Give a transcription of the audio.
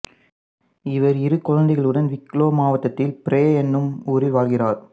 இவர் இரு குழந்தைகளுடன் விக்லோ மாவட்டத்தில் பிரே என்னும் ஊரில் வாழ்கிறார்